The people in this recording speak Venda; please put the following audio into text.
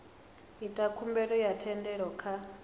ita khumbelo ya thendelo kha